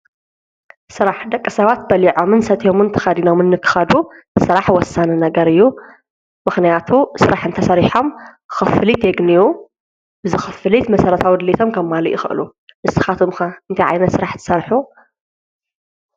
ሥራሕ ደቀ ሰባት በሊዖ ምን ሰትዮሙን ተኸዲኖምን ንክኸዱ ሥራሕ ወሳን ነገር እዩ ምኽንያቱ ሥራሕ እንተ ሠሪሖም ኽፍሊት የግንዩ ዝኽፍሊት መሠረታ ወድሊቶም ከምማሉ ይኽእሉ ንስኻቶምካ እንቲዓይነ ሥራሕ ሠርኁ?